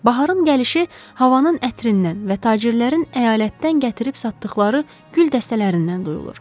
Baharın gəlişi havanın ətrindən və tacirlərin əyalətdən gətirib satdıqları gül dəstələrindən duyulur.